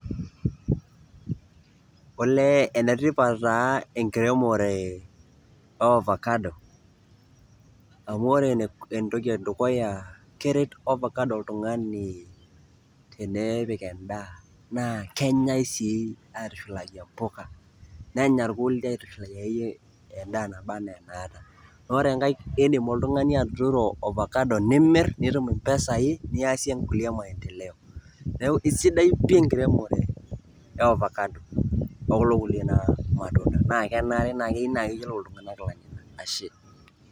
Olee ene tipat taa enkiremore o ovakado amu ore entoki e dukuya keret ovakado oltung'ani tenepik endaa na kenyai sii aitushulaki mpuka, nenya irkulie aitushulaki endaa naba naa enaata. Ore enkae indim oltung'ani atuturo ovakado nimir nitum mpisai niasie nkulie maendeleo. Neeku sidai pii enkiremore e ovakado o kulo kulie naa matunda naake enare nai naake eyolo iltung'anak ilainyang'ak ashe.